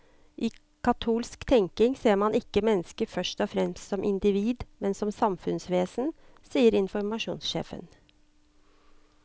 I katolsk tenkning ser man ikke mennesket først og fremst som individ, men som samfunnsvesen, sier informasjonssjefen.